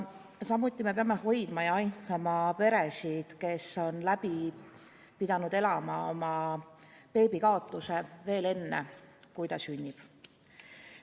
Samuti peame hoidma ja aitama peresid, kes on pidanud läbi elama oma beebi kaotuse, veel enne, kui ta sünnib.